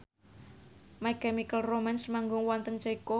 My Chemical Romance manggung wonten Ceko